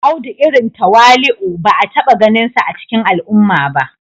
Audu irin tawali'u ba a taba ganinsa a cikin al'umma ba